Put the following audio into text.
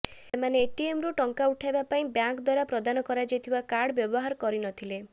ସେମାନେ ଏଟିଏମ୍ରୁ ଟଙ୍କା ଉଠାଇବା ପାଇଁ ବ୍ୟାଙ୍କ ଦ୍ୱାରା ପ୍ରଦାନ କରାଯାଇଥିବା କାର୍ଡ ବ୍ୟବହାର କରିନଥିଲେ